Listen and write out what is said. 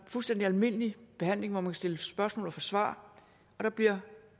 fuldstændig almindelig behandling hvor man kan stille spørgsmål og få svar og der bliver